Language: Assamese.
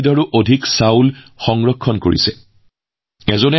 ৬৫০ৰো অধিক জাতৰ ধানৰ সংৰক্ষণৰ বাবে কাম কৰা লোকো আছে